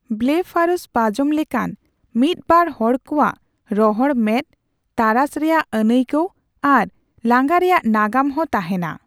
Blepharospasm ᱞᱮᱠᱟᱱ ᱢᱤᱫ ᱵᱟᱨ ᱦᱚᱲᱠᱚᱣᱟᱜ ᱨᱚᱦᱚᱲ ᱢᱮᱫ, ᱛᱟᱨᱟᱥ ᱨᱮᱭᱟᱜ ᱟᱹᱱᱟᱹᱭᱠᱟᱣ ᱟᱨ ᱞᱟᱸᱜᱟ ᱨᱮᱭᱟᱜ ᱱᱟᱜᱟᱢ ᱦᱚᱸ ᱛᱟᱦᱮᱸᱱᱟ᱾